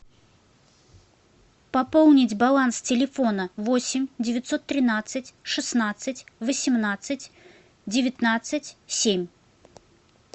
пополнить баланс телефона восемь девятьсот тринадцать шестнадцать восемнадцать девятнадцать семь